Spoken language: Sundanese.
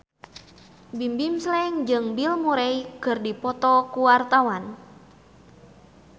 Bimbim Slank jeung Bill Murray keur dipoto ku wartawan